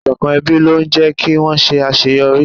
Ìṣọ̀kan ẹbí ló ń jé kí wón ṣe àṣeyọrí.